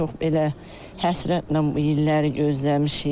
Çox belə həsrətlə bu illəri gözləmişik.